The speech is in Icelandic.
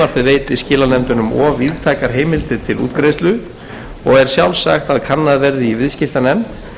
veiti skilanefndunum of víðtækar heimildir til útgreiðslu og er sjálfsagt að kannað verði í viðskiptanefnd hvort